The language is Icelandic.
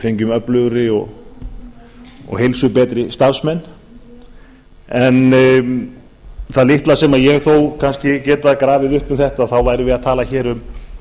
fengjum öflugri og heilsubetri starfsmenn en það litla sem ég þó kannski gat grafið upp um þetta þá værum við að tala hér um